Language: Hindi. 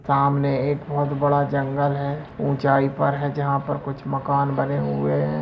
सामने एक बहुत बड़ा जंगल है उचाई पर है जहाँ पर कुछ मकान बने हुए है।